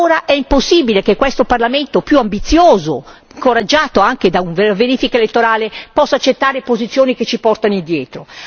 Ora è impossibile che questo Parlamento, più ambizioso, incoraggiato anche da una verifica elettorale, possa accettare condizioni che ci portano indietro.